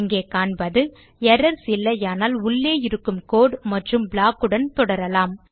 இங்கே காண்பது எரர்ஸ் இல்லையானால் உள்ளே இருக்கும் கோடு மற்றும் ப்ளாக் உடன் தொடரலாம்